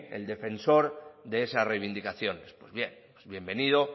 el defensor de esas reivindicaciones pues bien pues bienvenido